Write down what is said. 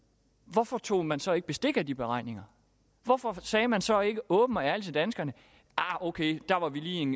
hvorfor tog man så ikke bestik af de beregninger hvorfor sagde man så ikke åbent og ærligt til danskerne ok der var vi lige